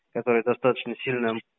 который достаточно сильным